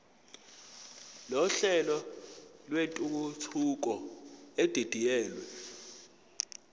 nohlelo lwentuthuko edidiyelwe